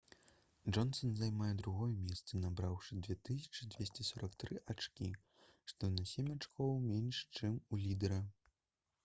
джонсан займае другое месца набраўшы 2243 ачкі што на сем ачкоў менш чым у лідэра